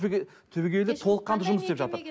түбегейлі толыққанды жұмыс істеп жатыр